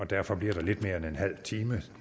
derfor lidt mere end en halv time